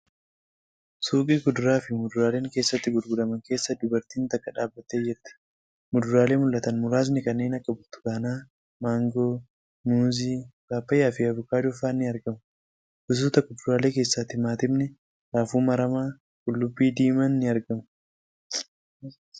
Suuqii kuduraa fi muduraaleen keessatti gurguraman keessa dubartiin takka dhaabbattee jirti . Muduraalee mul'atan muraasni kanneen akk burtukaanaa, maangoo, muuzii, paappaayyaa fi avookaadoo fa'aan ni argamu. Gosoota kuduraalee keessaa timaatimni raafuu. maramaa, qulluubbii diimaan ni argamu.